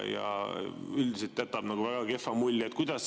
Üldiselt jätab väga kehva mulje.